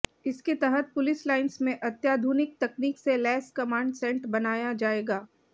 इसके तहत police lines में अत्याधुनिक तकनीक से लैस कमांड सेंट बनाया जाएगा